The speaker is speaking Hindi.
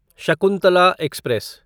शकुंतला एक्सप्रेस